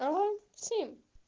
давай всем